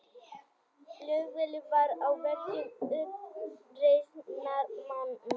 Flugvélin var á vegum uppreisnarmanna